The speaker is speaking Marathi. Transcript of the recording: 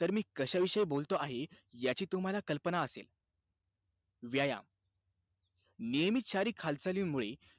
तर मी कशाविषयी बोलतो आहे, याची तुम्हाला कल्पना असेल. व्यायाम, नियमित शारीरिक हालचालींमुळे,